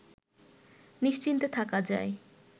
নিশ্চিন্তে থাকা যায়